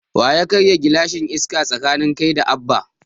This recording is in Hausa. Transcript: Waya karya gilashin Iska tsakanin kai da Abba?